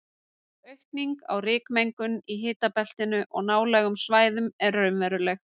Aukning á rykmengun í hitabeltinu og nálægum svæðum er raunveruleg.